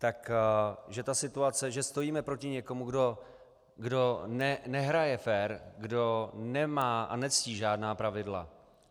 Takže je to situace, že stojíme proti někomu, kdo nehraje fér, kdo nemá a nectí žádná pravidla.